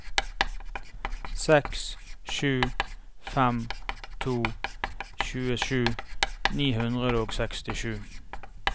seks sju fem to tjuesju ni hundre og sekstisju